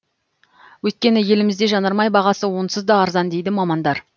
өйткені елімізде жанармай бағасы онсыз да арзан дейді мамандар